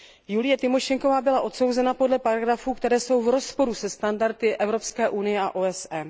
Julie Tymošenková byla odsouzena podle paragrafů, které jsou v rozporu se standardy Evropské unie a OSN.